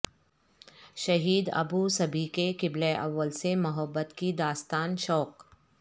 شہید ابو صبیح کے قبلہ اول سے محبت کی داستان شوق